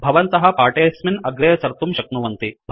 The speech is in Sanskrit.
भवन्तः पाठेस्मिन् अग्रेसर्तुं शक्नुवन्ति